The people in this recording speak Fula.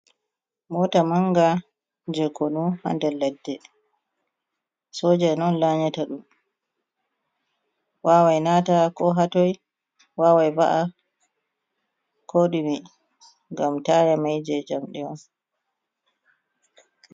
Moota manga je konu, ha nder ladde, soja en on laanyata ɗum, waawai naata ko ha toi, waawai va’a ko ɗume, ngam taaya mai je njamdi on.